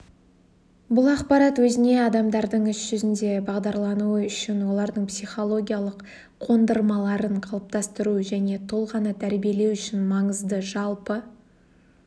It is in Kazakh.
бұл ақпарат өзіне адамдардың іс жүзінде бағдарлануы үшін олардың психологиялық қондырмаларын қалыптастыру және тұлғаны тәрбиелеу үшін маңызды жалпы